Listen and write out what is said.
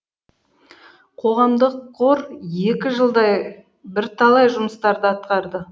қоғамдық қор екі жылдай бірталай жұмыстарды атқарды